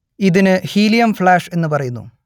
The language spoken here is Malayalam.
ഇതിനു ഹീലിയം ഫ്ലാഷ് എന്നു പറയുന്നു